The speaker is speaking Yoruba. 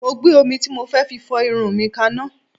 Mo gbé omi tí mo fẹ́ fi fọ irun mi kanná